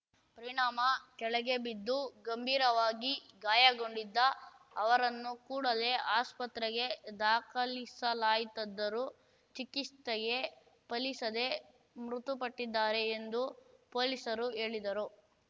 ಪರಿಣಾಮ ಕೆಳಗೆ ಬಿದ್ದು ಗಂಭೀರವಾಗಿ ಗಾಯಗೊಂಡಿದ್ದ ಅವರನ್ನು ಕೂಡಲೇ ಆಸ್ಪತ್ರೆಗೆ ದಾಖಲಿಸಲಾಯಿತಾದ್ದರೂ ಚಿಕಿಸ್ತೆಯೇ ಫಲಿಸದೇ ಮೃತುಪಟ್ಟಿದ್ದಾರೆ ಎಂದು ಪೊಲೀಸರು ಹೇಳಿದರು